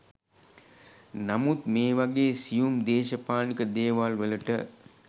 නමුත් මේ වගේ සියුම් දේශපාලනික දේවල් වලට